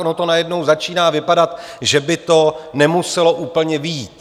Ono to najednou začíná vypadat, že by to nemuselo úplně vyjít.